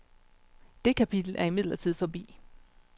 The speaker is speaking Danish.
Det kapitel er imidlertid forbi.